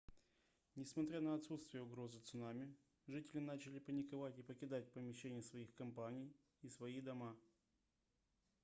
несмотря на отсутствие угрозы цунами жители начали паниковать и покидать помещения своих компаний и свои дома